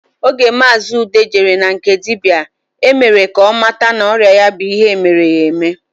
Oge maazi Ude jere na nke dibịa, e mere ka ọ mata na ọrịa ya bụ ihe e mere ya eme